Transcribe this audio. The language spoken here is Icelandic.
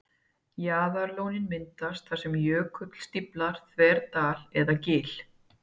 Jaðarlónin myndast þar sem jökull stíflar þverdal eða gil.